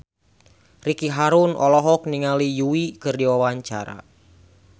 Ricky Harun olohok ningali Yui keur diwawancara